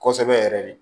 Kosɛbɛ yɛrɛ de